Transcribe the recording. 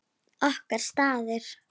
Okkar staður.